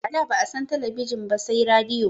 A da ba'a san talabijin ba sai radiyo